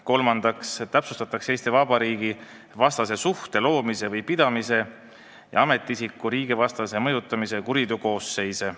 Kolmandaks täpsustatakse Eesti Vabariigi vastase suhte loomise või pidamise ja ametiisiku riigivastase mõjutamise kuriteokoosseise.